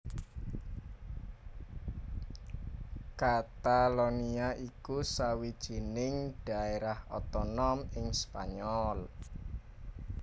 Katalonia iku sawijining dhaérah otonom ing Spanyol